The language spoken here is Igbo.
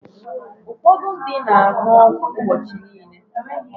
Ụfọdụ ndị na-aṅụ ọgwụ ụbọchị niile.